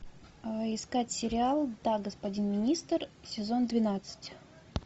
искать сериал да господин министр сезон двенадцать